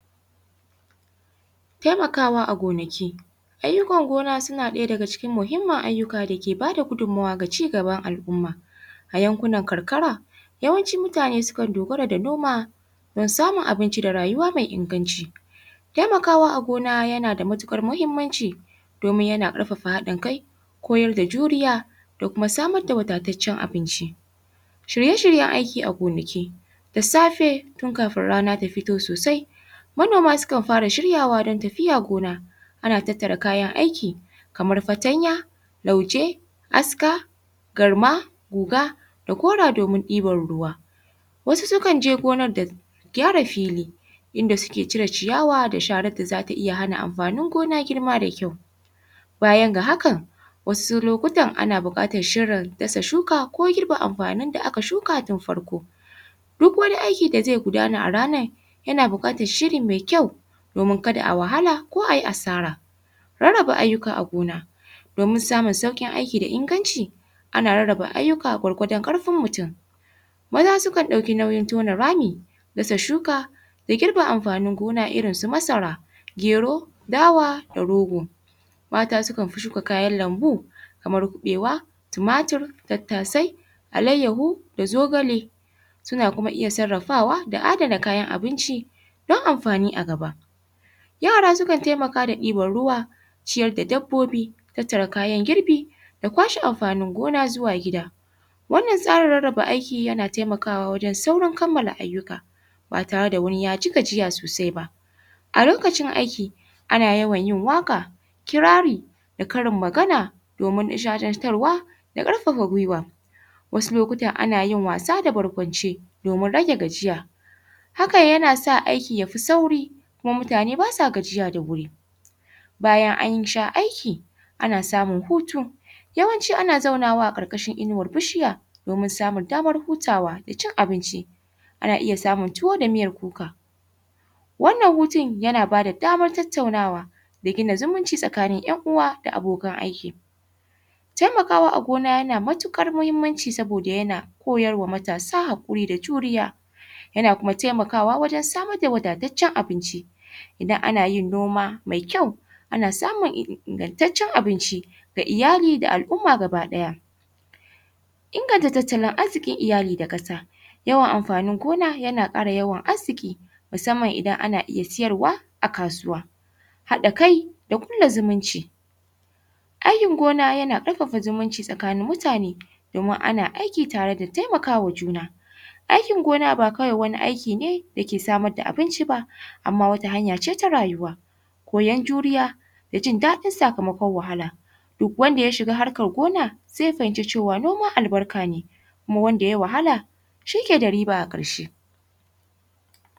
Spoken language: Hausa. Taimakawa a gonaki. Ayyukan gona suna ɗaya daga cikin muhimman ayyuka da suke ba da gudunmuwa ga cigaban al'umma. A yankunan karkara, yawancin mutane sukan dogara da noma, don samun abinci da rayuwa mai inganci. Taimakawa a gona, yana da matuƙar muhimmanci, domin yana ƙarfafa haɗin kai koyar da juriya, da kuma samar da wadataccen abinci Shirye-shiryen aiki a gonaki: da safe, tun kafin rana ta fito sosai, manoma sukan fara shiryawa don tafiya gona. Ana tattara kayan aiki, kamar fatanya, lauje, aska, garma, guga, da gora domin ɗibar ruwa. wasu sukan je gonar don gyara fili. In da suke cire ciyawa da sharar da za ta iya hana amfanin gona girma da ƙyau. Bayan ga hakan, wasu lokutan ana buƙatar shirin dasa shuka, ko girbe amfanin da aka shuka tun farko. Duk wani aiki da zai gudana a ranar, yana buƙatar shiri mai kyau, Domin kada a wahala, ko ayi asara. Rarraba ayyuka a gona: domin samun sauƙin aiki da inganci, ana rarraba ayyuka gwargwadon ƙarfin mutum. Maza sukan ɗauki nauyin tona rami, dasa shuka, da girbin amfanin gona irinsu masara, gero, dawa, da rogo. Mata sukan fi shuka kayan lambu, kamar kuɓewa, tumatir, tattasai, alayyahu, da zogale. Suna kuma iya sarrafawa, da adana kayan abinci, don amfani a gaba. Yara sukan taimaka da ɗibar ruwa, ciyar da dabbobi, tattara kayan girbi, da kwashe amfanin gona zuwa gida. Wannan tsarin rarraba aiki yana taimakawa wajen saurin kammala ayyuka, ba tare da wani ya ji gajiya sosai ba. A lokacin aiki, ana yawan yin waƙa, kirari, da karin magana. Domin nishaɗantarwa da ƙarfafa gwuiwa. Wasu lokutan ana yin wasa da barkwanci, domin rage gajiya. Hakan yana sa aiki ya fi sauri, Kuma mutane ba sa gajiya da wuri. Bayan an sha aiki, ana samun hutu. Yawanci ana zaunawa a ƙarƙashin inuwar bishiya, domin samun damar hutawa da cin abinci. Ana iya samun tuwo da miyar kuka. Wannan hutun, yana bada damar tattaunawa, da gina zumunci tsakanin ƴan'uwa da abokan aiki. Taimakawa a gona yana matuƙar muhimmanci saboda yana koyar wa matasa haƙuri da juriya. Yana kuma taimakawa wajen samar da wadataccen abinci. Idan ana yin noma mai kyau, ana samun ingantaccen abinci ga iyali da al'umma ga ba ɗaya, inganta tatalin arziƙin iyali da ƙasa. Yawan amfanin gona yana ƙara yawan arziƙi, musamman idan ana iya siyarwa a kasuwa. Haɗa kai da ƙulla zumunci. Aikin gona yana ƙarfafa zumunci tsakanin mutane, domin ana aiki tare da taimaka wa juna. Aikin gona ba kawai wani aiki ne da ke samar da abinci ba, amma wata hanya ce ta rayuwa, da jin daɗin sakamakon wahala. Duk wanda ya shiga harkar gona, zai fahimci cewa noma albarka ne. kuma wanda ya wahala, shi ke da riba a ƙarshe.